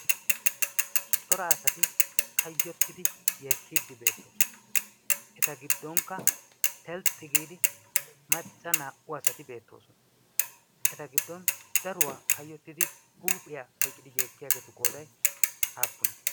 cora asati kayyottidi yeekkiiddi beettoosona eta giddonkka telxxi giidi macca naa''u asati beettoosona eta giddon daruwaa kayyottidi huuphiyaa oyqidi yeekkiyaageetu qooday haappuna